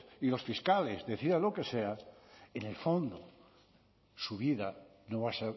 y los fiscales decidan lo que sea en el fondo su vida no va a